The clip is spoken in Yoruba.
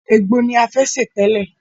Ègbo ni a fẹ́ sè tẹ́lẹ̀.